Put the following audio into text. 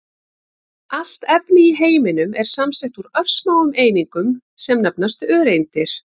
Allt efni í heiminum er samsett úr örsmáum einingum sem nefnast öreindir.